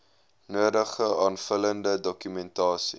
nodige aanvullende dokumentasie